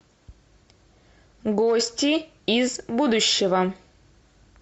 гости из будущего